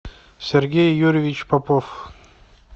сергей юрьевич попов